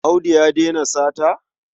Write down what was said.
Audu ya daina sata?